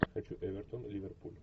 хочу эвертон ливерпуль